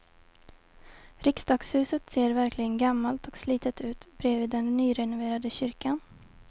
Riksdagshuset ser verkligen gammalt och slitet ut bredvid den nyrenoverade kyrkan.